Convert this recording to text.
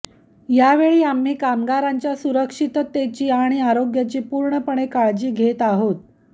यावेळी आम्ही कामगारांच्या सुरक्षिततेची आणि आरोग्याची पूर्णपणे काळजी घेत आहोत